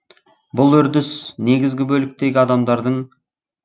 бұл үрдіс негізгі бөліктегі адамдардың